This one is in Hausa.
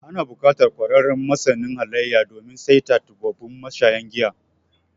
Ana buƙatar ƙwararren masanin halayya, domin saita tubabbun mashayan giya.